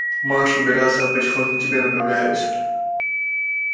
марш убираться а потихоньку к тебе направляюсь